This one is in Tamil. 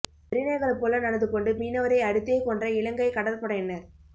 வெறிநாய்கள் போல நடந்து கொண்டு மீனவரை அடித்தே கொன்ற இலங்கை கடற்படையினர்